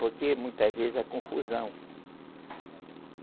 Porque, muitas vezes a confusão.